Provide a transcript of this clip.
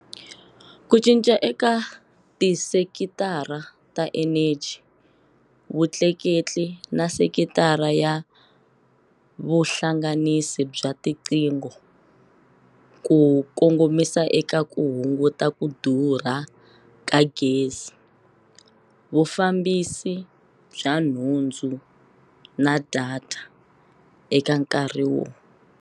Ku cinca eka tisekitara ta eneji, vutleketli na sekitara ya vuhlanganisi bya tiqingho ku kongomisa eka ku hunguta ku durha ka gezi, vufambisi bya nhundzu na data eka nkarhi wo.